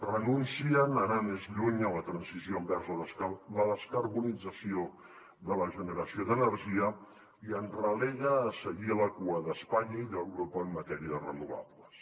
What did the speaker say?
renuncien a anar més lluny en la transició envers la descarbonització de la generació d’energia i ens relega a seguir a la cua d’espanya i d’europa en matèria de renovables